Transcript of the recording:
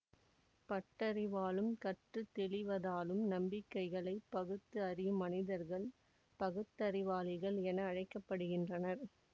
பட்டறிவாலும் கற்று தெளிவதாலும் நம்பிக்கைகளைப் பகுத்து அறியும் மனிதர்கள் பகுத்தறிவாளிகள் என அழைக்க படுகின்றனர்